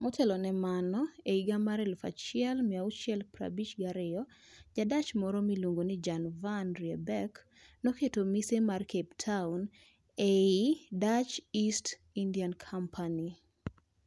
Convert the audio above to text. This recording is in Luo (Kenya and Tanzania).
Motelo ne mano, e higa mar 1652, Ja-Dutch moro miluongo ni Jan van Riebeeck, noketo mise mar Cape Town e lo Dutch East India Company.